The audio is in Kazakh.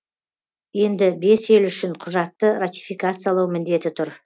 енді бес ел үшін құжатты ратификациялау міндеті тұр